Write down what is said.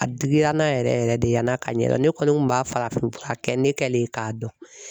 A digira n na yɛrɛ yɛrɛ yɛrɛ de yann'a ka ɲɛdɔn ne kɔni kun b'a farafinfura kɛ ne kɛlen k'a dɔn